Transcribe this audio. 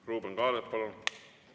Ruuben Kaalep, palun!